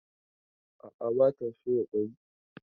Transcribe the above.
A'a, ba ta soya kwai.